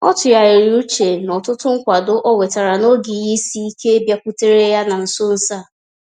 Ọ tụgharịrị uche na ọtụtụ nkwado ọ nwetara n’oge ihe isi ike bịakwutere ya na nso nso a.